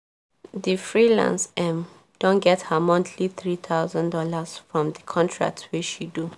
di freelance um don get her monthly three thousand dollars from di contract wey she do